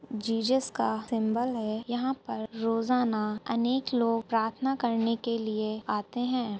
Jesus का symbol है। यहां पर रोजाना अनेक लोग प्रार्थना करने के लिए आते हैं।